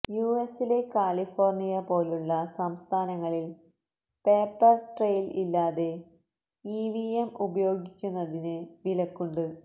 U എസിലെ California പോലുള്ള സംസ്ഥാനങ്ങളില് പേപ്പര് ട്രെയില് ഇല്ലാതെ ഇ വി എം ഉപയോഗിക്കുന്നതിന് വിലക്കുണ്ട്